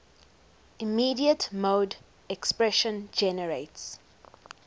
immediate mode expression generates